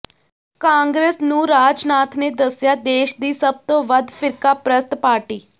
ਕਾਂਗਰਸ ਨੂੰ ਰਾਜਨਾਥ ਨੇ ਦੱਸਿਆ ਦੇਸ਼ ਦੀ ਸਭ ਤੋਂ ਵੱਧ ਫਿਰਕਾਪ੍ਰਸਤ ਪਾਰਟੀ